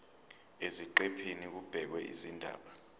eziqephini kubhekwe izindaba